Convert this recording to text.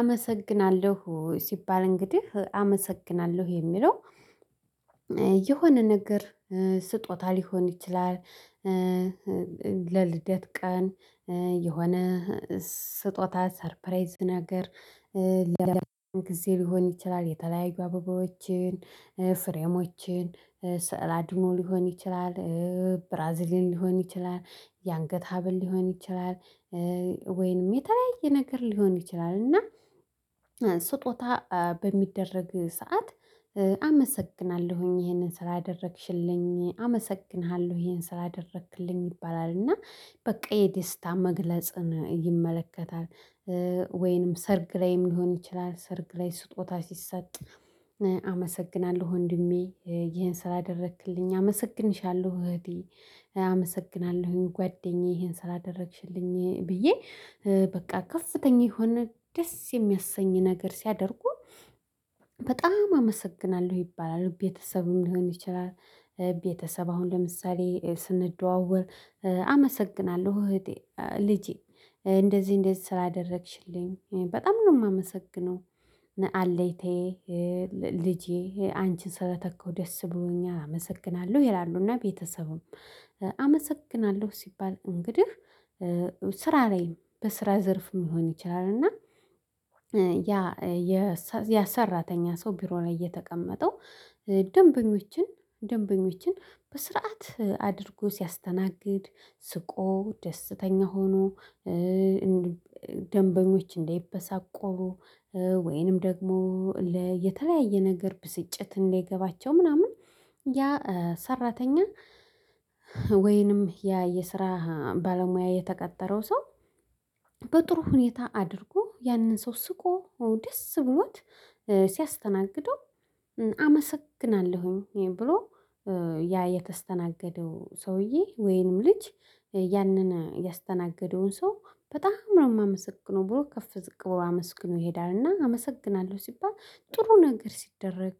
አመሰግናለሁ ሲባል እንግዲህ አመሰግናለሁ የሚለው የሆነ ነገር ስጦታ ሊሆን ይችላል። ለልደት ቀን የሆነ ስጦታ ሰርፕራይዝ ነገር። ለምን ጊዜ ሊሆን ይችላል? የተለያዩ አበባዎችን ፍሬሞችን ስዕል አድኖ ሊሆን ይችላል። ብራዚሊን ሊሆን ይችላል የአንገት ሀብል ሊሆን ይችላል። ወይንም የተለያየ ነገር ሊሆን ይችላል። እና ስጦታ በሚደረግ ሰዓት አመሰግናለሁኝ ይሄንን ስላአደረግሽልኝ አመሰግንሃለሁ ይሄን ስላደረክልኝ ይባላል እና በቃ የደስታ መግለጽን ይመለከታል። ወይንም ሰርግ ላይም ሊሆን ይችላል ሰርግ ላይ ስጦታ ሲሰጥ። አመሰግናለሁ ወንድሜ ይሄን ስላደረክልኝ አመሰግንሻለሁ እህቴ አመሰግናለሁኝ ጓደኛዬ ይሄን ስላደረግሽልኝ ብዬ በቃ ከፍተኛ የሆነ ደስ የሚያሰኝ ነገር ሲያደርጉ። በጣም አመሰግናለሁ ይባላል ቤተሰብም ሊሆን ይችላል። ቤተሰብ አሁን ለምሳሌ ስንደዋወል አመሰግናለሁ እህቴ ልጄ እንደዚህ እንደዚህ ስላደረግሽልኝ በጣም ነው የማመሰግነው። አለኝታየ ልጄ አንቺን ስለተካሁ ደስ ብሎኛል አመሰግናለሁ ይላሉና። ቤተሰቡም አመሰግናለሁ ሲባል እንግዲህ። ስራ ላይም በስራ ዘርፍ ሊሆን ይችላል እና። ያ የሰራተኛ ሰው ቢሮ ላይ እየተቀመጠው ደንበኞችን ደንበኞችን በስርዓት አድርጎ ሲያስተናግድ ስቆ ደስተኛ ሆኖ። ደንበኞች እንዳይበሳጩ ወይንም ደግሞ የተለያየ ነገር ብስጭት እንዳይገባቸው ምናምን ያ ሰራተኛ ወይንም ያ የስራ ባለሙያ የተቀጠረው ሰው። በጥሩ ሁኔታ አድርጎ ያንን ሰው ስቆ ደስ ብሎት ሲያስተናግደው። አመሰግናለሁኝ ብሎ ያ የተስተናገደው ሰውዬ ወይንም ልጅ ያንን ያስተናገደውን ሰው በጣም ነው የማመሰግነው ብሎ ከፍ ዝቅ ብሎ አመስግኖ ይሄዳል። እና አመሰግናለሁ ሲባል ጥሩ ነገር ሲደረግ